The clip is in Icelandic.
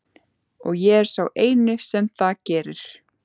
Og ég er sá eini sem það gerir.